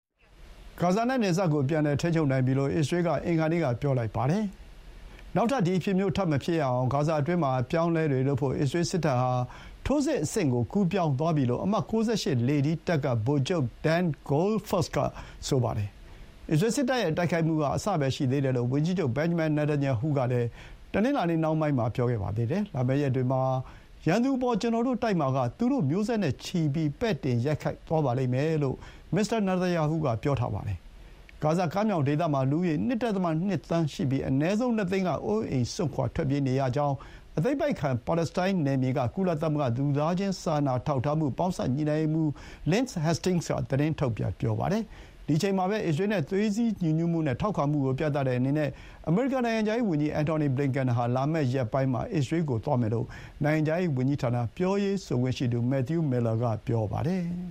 ဂါဇာနဲ့နယ်စပ်ကို ပြန်လည်ထိန်းချုပ်နိုင်ပြီလို့ အစ္စရေးက အင်္ဂါနေ့က ပြောလိုက်ပါတယ်။ နောက်ထပ် ဒီအဖြစ်မျိုး ထပ်မဖြစ်ရအောင် ဂါဇာအတွင်းမှာ အပြောင်းအလဲတွေလုပ်ဖို့ အစ္စရေးစစ်တပ်ဟာ ထိုးစစ်အဆင့်ကို ကူးပြောင်းသွားပြီလို့ အမှတ် ၉၈ လေထီးတပ်က ဗိုလ်ချုပ် ဒန် ဂိုးဖာ့စ် (Dan Goldfuss) က ဆိုပါတယ်။ အစ္စရေးစစ်တပ်ရဲ့ တိုက်ခိုက်မှုက အစပဲရှိသေးတယ်လို့ ဝန်ကြီးချုပ် ဘင်ဂျမင် နေသန်ယာဟု (Benjamin Netanyahu) က တနင်္လာနေ့နှောင်းပိုင်းမှာ ပြောပါတယ်။ လာမယ့်ရက်တွေမှာ ရန်သူအပေါ် ကျနော်တို့တိုက်မှာက သူတို့ မျိုးဆက်နဲ့ချီပြီး ပဲ့တင်ရိုက်သွားပါလိမ့်မယ်” လို့ မစ္စတာနေသန်ယာဟုက ဆိုပါတယ်။ ဂါဇာကမ်းမြောင်ဒေသမှာ လူဦးရေ ၂.၂ သန်း ရှိပြီး အနည်းဆုံး ၂ သိန်းက အိုးအိမ်စွန့်ခွါထွက်ပြေးနေရကြောင်း အသိမ်းပိုက်ခံ ပါလက်စတိုင်းနယ်မြေက ကုလသမဂ္ဂ လူသားချင်းစာနာထောက်ထားမှု ပေါင်းစပ်ညှိနှိုင်းရေးမှူး Lynn Hastings က သတင်းထုတ်ပြန် ပြောပါတယ်။ ဒီအချိန်မှာပဲ အစ္စရေးနဲ့ သွေးစည်းညီညွတ်မှုနဲ့ ထောက်ခံမှုကိုပြသတဲ့အနေနဲ့ အမေရိကန် နိုင်ငံခြားရေးဝန်ကြီး အင်ထောင်နီ ဘလင်ကန်ဟာ လာမယ့်ရက်ပိုင်းမှာ အစ္စရေးကို သွားမယ်လို့ နိုင်ငံခြားရေးဝန်ကြီးဌာန ပြောရေးဆိုခွင့်ရှိသူ မက်သယူး မီလ်လာ (Matthew Miller) က ပြောပါတယ်။